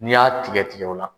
N'i y'a tigɛ tigɛ o la.